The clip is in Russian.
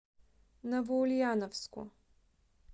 новоульяновску